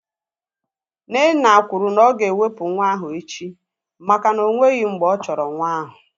Nnenna kwuru na oga ewepu nwa ahu echi maka na onweghi mgbe ọ chọrọ nwa ahu